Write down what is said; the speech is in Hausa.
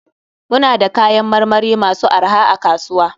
Muna da kayan marmari masu arha a kasuwa.